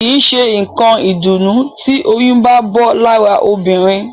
Kìí ṣé nǹkan ìdùnnú tí oyún bá bọ́ lára obìnrin